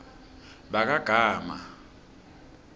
bakagama